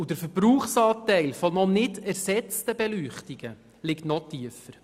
Und der Verbrauchsanteil von noch nicht ersetzten Beleuchtungen liegt noch tiefer.